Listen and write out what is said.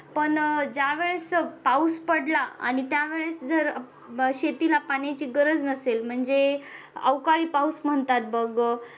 पण ज्या वेळेस पाऊस पडला आणि त्यावेळेस जर शेतीला पाण्याची गरज नसेल म्हणजे अवकाळी पाऊस म्हणतात बघ